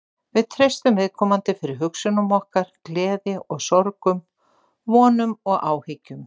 Við treystum viðkomandi fyrir hugsunum okkar, gleði og sorgum, vonum og áhyggjum.